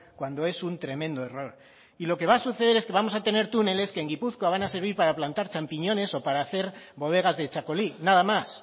cuando es un tremendo error lo que va a suceder es que vamos a tener túneles que en gipuzkoa van a servir para plantar champiñones o para hacer bodegas de txakoli nada más